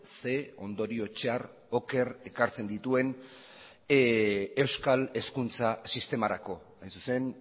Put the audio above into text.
ze ondorio txar oker ekartzen dituen euskal hezkuntza sistemarako hain zuzen